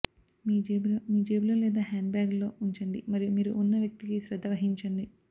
మీ జేబులో మీ జేబులో లేదా హ్యాండ్బ్యాగ్లో ఉంచండి మరియు మీరు ఉన్న వ్యక్తికి శ్రద్ధ వహించండి